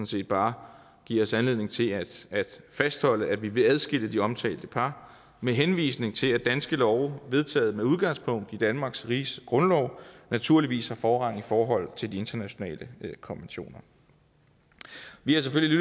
set bare give os anledning til at fastholde at vi vil adskille de omtalte par med henvisning til at danske love vedtaget med udgangspunkt i danmarks riges grundlov naturligvis har forrang i forhold til de internationale konventioner vi har selvfølgelig